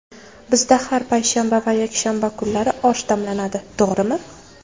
Bizda har payshanba va yakshanba kunlari osh damlanadi, to‘g‘rimi?